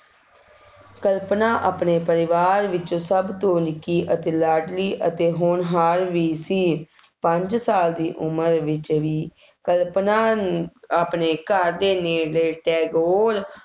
ਕਲਪਨਾ ਆਪਣੇ ਪਰਿਵਾਰ ਵਿੱਚ ਸਭ ਤੋਂ ਨਿੱਕੀ ਅਤੇ ਲਾਡ਼ਲੀ ਅਤੇ ਹੋਣਹਾਰ ਵੀ ਸੀ, ਪੰਜ ਸਾਲ ਦੀ ਉਮਰ ਵਿੱਚ ਵੀ ਕਲਪਨਾ ਆਪਣੇ ਘਰ ਦੇ ਨੇੜੈ ਟੈਗੋਰ